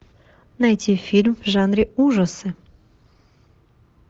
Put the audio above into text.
найти фильм в жанре ужасы